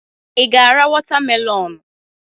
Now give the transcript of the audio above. Ị ga-ara watamelonụ?